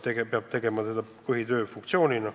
See peab olema tema põhitöö.